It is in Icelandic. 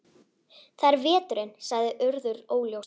Það er veturinn- sagði Urður óljóst.